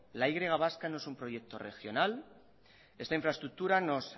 la y vasca no es un proyecto regional esta infraestructura nos